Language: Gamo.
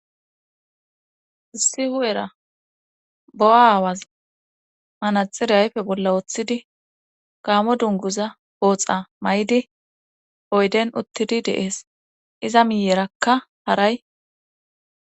Issi hu7era bo7 aawaz hanaxire hayfe bolla wooththidi gaamo dunguza booxa may7di oyden uttidi deees iza miyerakka haray.